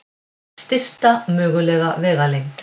Stysta mögulega vegalengd.